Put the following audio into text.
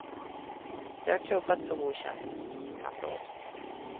Det har klubbats och godkänts i samråd.